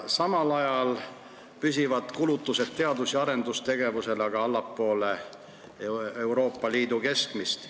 Samal ajal püsivad kulutused teadus- ja arendustegevusele allpool Euroopa Liidu keskmist.